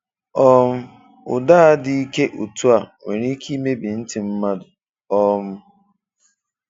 um Ụdá dị ịke otú a, nwere ike ịmebi ntị mmadụ. um